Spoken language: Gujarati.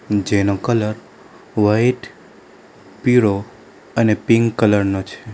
જેનો કલર વાઈટ પીરો અને પિંક કલર નો છે.